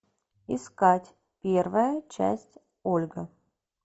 искать первая часть ольга